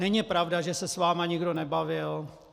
Není pravda, že se s vámi nikdo nebavil.